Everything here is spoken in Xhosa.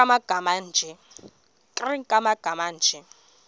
nkr kumagama anje